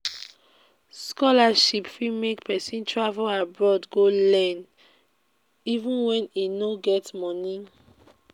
scholarship fit make pesin travel abroad go learn even when e no get money